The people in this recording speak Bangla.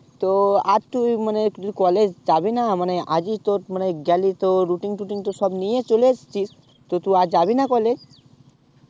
তো আর তুই মানে তু কি college যাবি না মানে আজই তোর মানে গেলি তো routine টুটিং তো সব নিয়ে চলে এসেছিস তো তু আর যাবিনা college